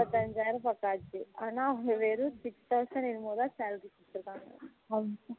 முப்பதியஞ்சாயிரம் போட்டாசி ஆனா அவங்க வெறும் six thousand என்னமோ தான் salary குடுத்துருக்காங்க